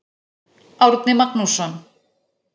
Árni Magnússon.